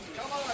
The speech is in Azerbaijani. Tamam.